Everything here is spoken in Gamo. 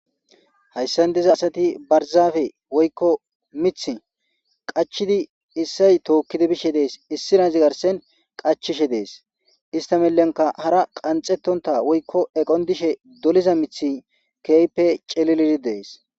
Hayissan diza asati barizappe woyikko miththi qachchidi isayi tokidi be'ishshe des issinazzi garssenn qachchishe des .ista milinkka hara qanxetonta woyikko eqonni dishshe doliza miththi kehippe cililid dees.